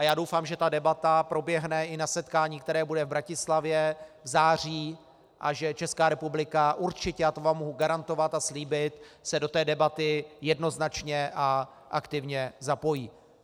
A já doufám, že ta debata proběhne i na setkání, které bude v Bratislavě v září, a že Česká republika určitě, a to vám mohu garantovat a slíbit, se do té debaty jednoznačně a aktivně zapojí.